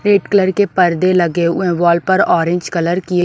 red colour के पर्दे लगे हुए हैं वॉल पर ऑरेंज कलर की--